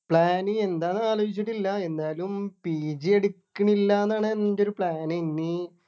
plan എന്താന്ന് ആലോചിച്ചിട്ടില്ല എന്തായാലും pg എടുക്ക് ണില്ല എന്നാണ് എൻ്റെ ഒരു plan ഇനി